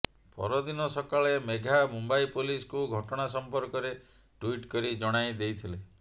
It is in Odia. ପରଦିନ ସକାଳେ ମେଘା ମୁମ୍ବାଇ ପୋଲିସକୁ ଘଟଣା ସମ୍ପର୍କରେ ଟ୍ବିଟ୍ କରି ଜଣାଇ ଦେଇଥିଲେ